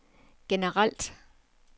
generelt